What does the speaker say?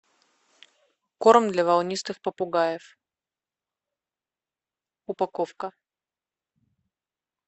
корм для волнистых попугаев упаковка